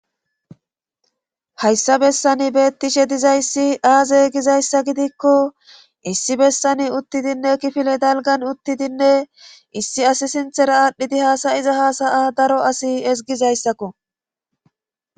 hayssa bessani beettishe dizayssi aaze gizayssa gidikko issi bessani uttidinne kifile dalgan uttidinne issi asi sinthera aadhdhidi haasayiza hasaya daro asi ezgizayssakko